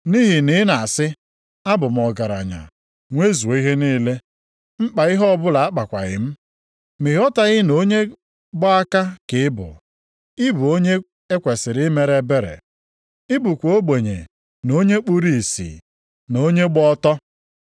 Nʼihi na ị na-asị, ‘abụ m ọgaranya, nwezuo ihe niile. Mkpa ihe ọbụla akpakwaghị m.’ Ma ị ghọtaghị na onye gba aka ka ị bụ. Ị bụ onye e kwesiri imere ebere. Ị bụkwa ogbenye na onye kpuru ìsì na onye gba ọtọ.